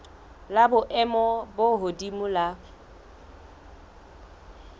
la boemo bo hodimo la